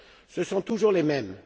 Ce sont toujours les mêmes.